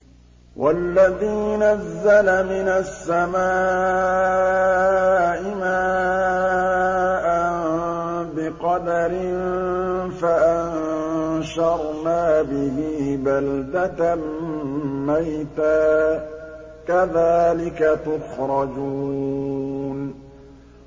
وَالَّذِي نَزَّلَ مِنَ السَّمَاءِ مَاءً بِقَدَرٍ فَأَنشَرْنَا بِهِ بَلْدَةً مَّيْتًا ۚ كَذَٰلِكَ تُخْرَجُونَ